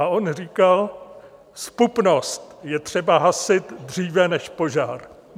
A on říkal: "Zpupnost je třeba hasit dříve než požár."